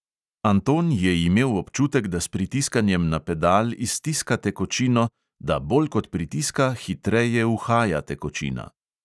Anton je imel občutek, da s pritiskanjem na pedal iztiska tekočino, da bolj kot pritiska, hitreje uhaja tekočina.